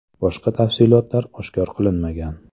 Boshqa tafsilotlar oshkor qilinmagan.